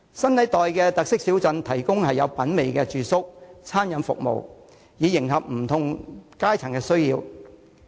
新一代的特色小鎮提供有品味的住宿和餐飲服務，迎合不同階層的需要。